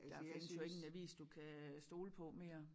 Der findes jo ikke en avis du kan stole på mere